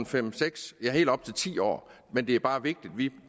fem seks ja helt op til ti år men det er bare vigtigt at vi